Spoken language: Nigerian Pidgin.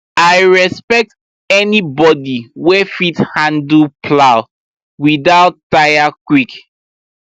i respect anybody wey fit handle plow without tire quick